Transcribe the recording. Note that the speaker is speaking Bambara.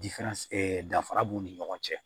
danfara b'u ni ɲɔgɔn cɛ